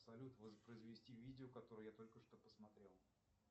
салют воспроизвести видео которое я только что посмотрел